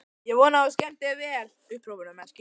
Ég vona að þú skemmtir þér vel!